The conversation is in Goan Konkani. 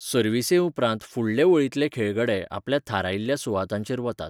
सर्वीसे उपरांत फुडले वळींतले खेळगडे आपल्या थारायिल्ल्या सुवातांचेर वतात.